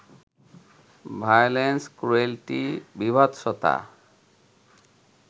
violence, cruelty, বীভৎসতা